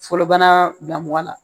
Fɔlɔbana damɔgɔ la